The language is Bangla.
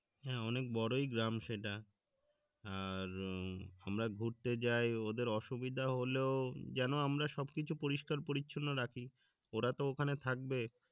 হ্যাঁ, অনেক বড়ই গ্রাম সেটা আর উম আমরা ঘুরতে যায় ওদের অসুবিধা হলেও যেনো আমরা সবকিছু পরিস্কার-পরিচ্ছন্ন রাখি ওরা তো ওখানে থাকবে